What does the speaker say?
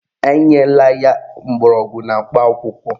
Enyela ya mgbọrọgwụ na mkpa akwụkwọ